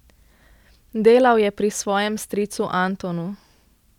Delal je pri svojem stricu Antonu.